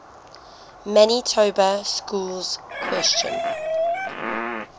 manitoba schools question